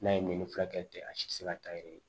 N'a ye min furakɛ ten a si tɛ se ka taa yɛrɛ ye